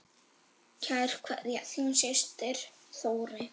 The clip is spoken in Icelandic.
Kær kveðja, þín systir Þórey.